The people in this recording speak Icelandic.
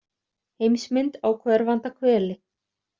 Heimsmynd á hverfanda hveli.